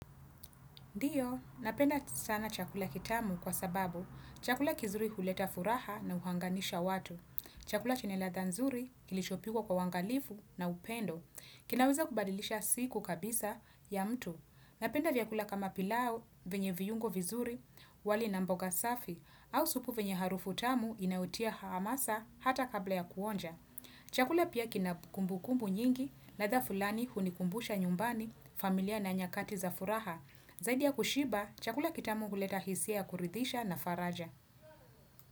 Ndiyo, napenda sana chakula kitamu kwa sababu chakula kizuri huleta furaha na uhanganisha watu. Chakula chenye ladha nzuri kilishopikwa kwa uangalifu na upendo. Kinaweza kubadilisha siku kabisa ya mtu. Napenda vyakula kama pilau venye viungo vizuri wali na mboga safi au supu venye harufu tamu inaotia hamasa hata kabla ya kuonja. Chakula pia kina kumbukumbu nyingi ladha fulani hunikumbusha nyumbani familia na nyakati za furaha Zaidi ya kushiba, chakula kitamu huleta hisia ya kuridhisha na faraja.